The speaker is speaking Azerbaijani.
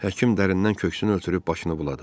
Həkim dərindən köksünü ötürüb başını buladı.